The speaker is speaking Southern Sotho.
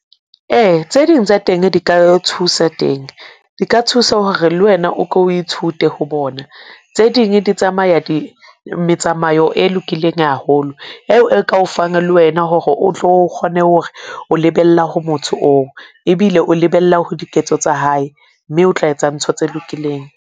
Ee, tse ding tsa teng di ka thusa teng di ka thusa hore le wena o ko o ithute ho bona. Tse ding di tsamaya di, metsamao e lokileng haholo, eo e ka o fang le wena hore o tlo kgone hore o lebella ho motho oo, ebile o lebella ho diketso tsa hae mme o tla etsa ntho tse lokileng.